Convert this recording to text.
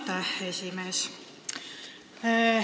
Aitäh, esimees!